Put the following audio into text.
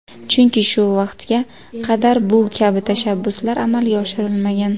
Chunki shu vaqtga qadar bu kabi tashabbuslar amalga oshirilmagan.